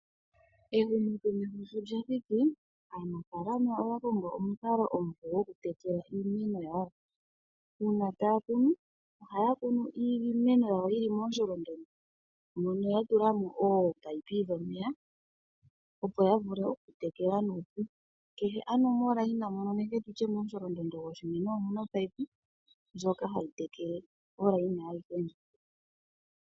Ehumokomeho sho lyathiki, aanafaalama oya kongo omukalo omupe go ku tekela iimeno yawo . Uuna ta ya kunu oha ya kunu iimeno ya wo yili momusholondondo mono ya tulamo ominino dhomeya opo ya vule okutekela nuupu. Kehe momukweyo nenge momusholondondo go shimeno omu na omunino ngoka ha gu tekele omusholondondo aguhe ngoka.